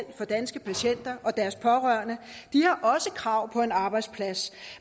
for danske patienter og deres pårørende har også krav på en arbejdsplads